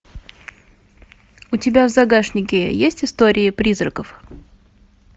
у тебя в загашнике есть истории призраков